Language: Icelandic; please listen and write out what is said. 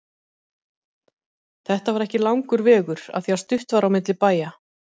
Þetta var ekki langur vegur af því stutt var á milli bæja.